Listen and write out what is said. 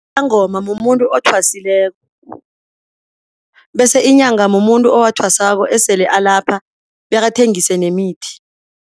Mumuntu othwasileko bese inyanga mumuntu owathwasako esele alapha, bekathengise nemithi.